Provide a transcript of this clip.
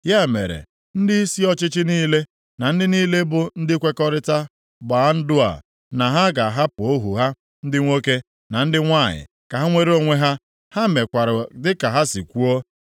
Ya mere, ndịisi ọchịchị niile, na ndị niile bụ ndị kwekọrịtara gbaa ndụ a, na ha ga-ahapụ ohu ha ndị nwoke na ndị nwanyị ka ha nwere onwe ha. Ha mekwara dịka ha si kwuo.